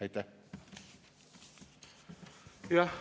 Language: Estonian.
Aitäh!